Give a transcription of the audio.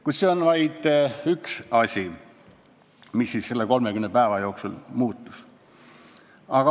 Kuid see on vaid üks asi, mis siis selle 30 päeva jooksul muutus.